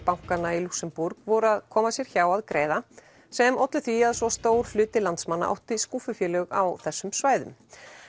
bankanna í Lúxemborg voru að koma sér hjá að greiða sem ollu því að svo stór hluti landsmanna átti skúffufélög á þessum svæðum